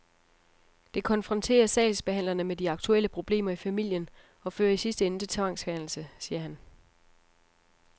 Det konfronterer sagsbehandlerne med de aktuelle problemer i familien og fører i sidste ende til tvangsfjernelse, siger han.